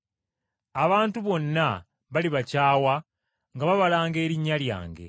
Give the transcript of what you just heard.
Abantu bonna balibakyawa nga babalanga erinnya lyange.